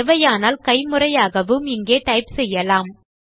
தேவையானால் கைமுறையாகவும் இங்கே டைப் செய்யலாம்